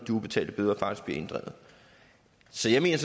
ubetalte bøder faktisk bliver inddrevet så jeg mener